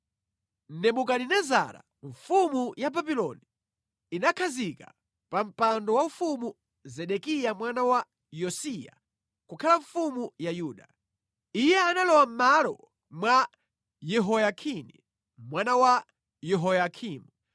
Nebukadinezara mfumu ya Babuloni, inakhazika pa mpando waufumu Zedekiya mwana wa Yosiya kukhala mfumu ya Yuda. Iye analowa mʼmalo mwa Yehoyakini mwana wa Yehoyakimu.